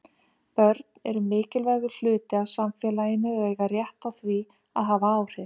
Börn eru mikilvægur hluti af samfélaginu og eiga rétt á því að hafa áhrif.